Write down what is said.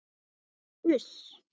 Uss, uss.